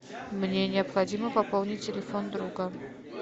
мне необходимо пополнить телефон друга